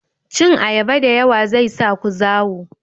Cin ayaba da yawa zai sa ku zawo